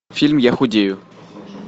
фильм я худею